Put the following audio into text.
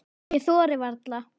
Ég þori varla.